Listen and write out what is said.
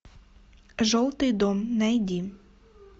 желтый дом найди